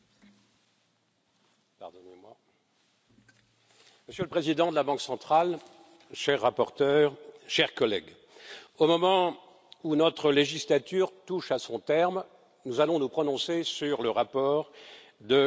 Monsieur le Président, Monsieur le Président de la Banque centrale, cher rapporteur, chers collègues, au moment où notre législature touche à son terme, nous allons nous prononcer sur le rapport de la Banque centrale.